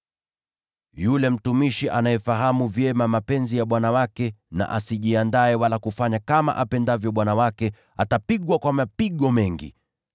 “Yule mtumishi anayefahamu vyema mapenzi ya bwana wake na asijiandae wala kufanya kama apendavyo bwana wake, atapigwa kwa mapigo mengi.